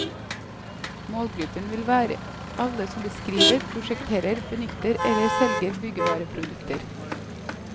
Målgruppen vil være alle som beskriver, prosjekterer, benytter eller selger byggevareprodukter.